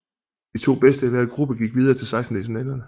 De to bedste i hver gruppe gik videre til sekstendelsfinalerne